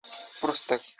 просто